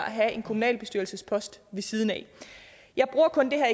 have en kommunalbestyrelsespost siden af jeg bruger kun det her